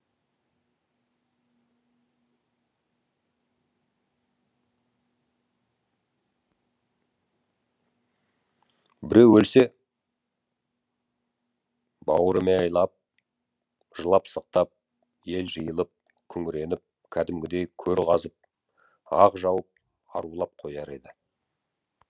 біреу өлсе бауыремайлап жылап сықтап ел жиылып күңіреніп кәдімгідей көр қазып ақ жауып арулап қояр еді